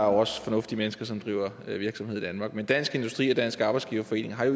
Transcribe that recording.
også fornuftige mennesker som driver virksomhed i danmark men dansk industri og dansk arbejdsgiverforening har